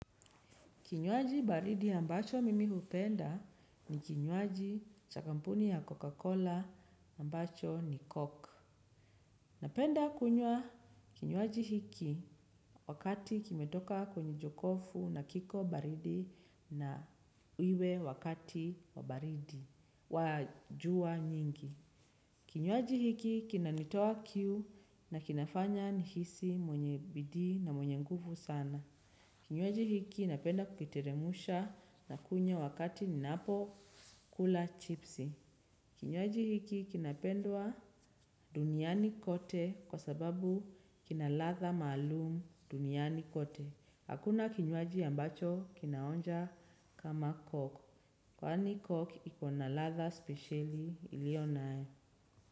Kinywaji baridi ambacho mimi hupenda ni kinywaji cha kampuni ya Coca-Cola ambacho ni Coke. Napenda kunywa kinywaji hiki wakati kimetoka kwenye jokofu na kiko baridi na iwe wakati wa baridi wa jua nyingi. Kinywaji hiki kinanitoa kiu na kinafanya nihisi mwenye bidii na mwenye nguvu sana. Kinywaji hiki napenda kukitiremusha na kunywa wakati ninapo kula chipsi. Kinywaji hiki kinapendwa duniani kote kwa sababu kinalatha malumu duniani kote. Hakuna kinywaji ambacho kinaonja kama coke. Kwani coke ikona latha specially iliyonae.